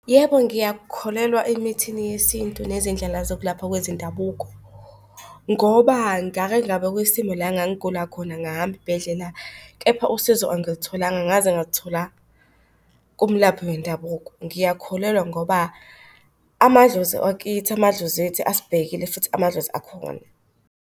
Yebo, ngiyakholelwa emithini yesintu nezindlela zokulapha kwezindabuko. Ngoba ngake ngaba kwisimo la engangigula khona ngahamba iy'bhedlela, kepha usizo angilitholanga ngaze ngaluthola kumlaphi wendabuko. Ngiyakholelwa ngoba amadlozi wakithi, amadlozi ethu asibhekile futhi amadlozi akhona.